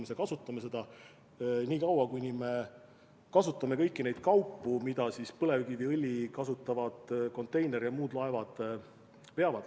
Ja me kasutame seda niikaua, kuni me vajame kõiki neid kaupu, mida põlevkiviõli kasutavad konteineri- ja muud laevad veavad.